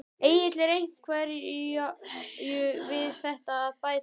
Egill er einhverju við þetta að bæta?